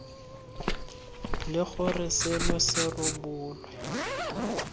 le gore seno se rebolwe